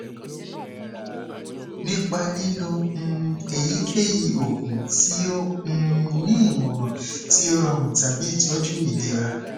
nipa lilo um eyikeyi oogun ti o um ni imọran ti o rọrun tabi itọju ilera